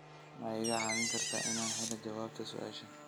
ma iga caawin kartaa inaan helo jawaabta su'aashan